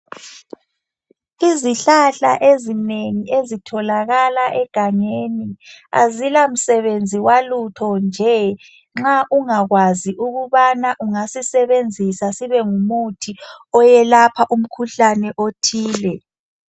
Izihlahla ezinengi ezitholakala egangeni azila msebenzi walutho njee nxa ungakwazi ukubana ungasisebenzisa sibengumuthi owelapha umkhuhlane othile .